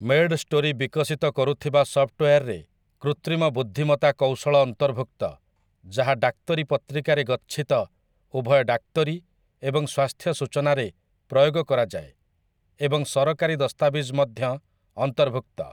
MedStory ବିକଶିତ କରୁଥିବା ସଫ୍ଟୱେୟାର୍‌ରେ କୃତ୍ରିମ ବୁଦ୍ଧିମତା କୌଶଳ ଅନ୍ତର୍ଭୁକ୍ତ ଯାହା ଡାକ୍ତରୀ ପତ୍ରିକାରେ ଗଚ୍ଛିତ ଉଭୟ ଡାକ୍ତରୀ ଏବଂ ସ୍ୱାସ୍ଥ୍ୟ ସୂଚନା ରେ ପ୍ରୟୋଗ କରାଯାଏ, ଏବଂ ସରକାରୀ ଦସ୍ତାବିଜ ମଧ୍ୟ ଅନ୍ତର୍ଭୁକ୍ତ ।